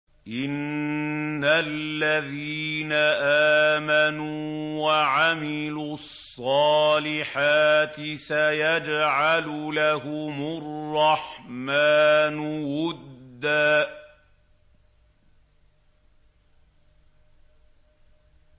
إِنَّ الَّذِينَ آمَنُوا وَعَمِلُوا الصَّالِحَاتِ سَيَجْعَلُ لَهُمُ الرَّحْمَٰنُ وُدًّا